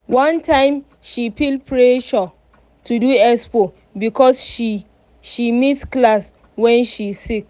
one time she feel pressure to do expo because she she miss class when she sick.